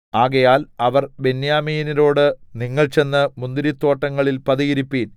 ആകയാൽ അവർ ബെന്യാമീന്യരോട് നിങ്ങൾ ചെന്ന് മുന്തിരിത്തോട്ടങ്ങളിൽ പതിയിരിപ്പിൻ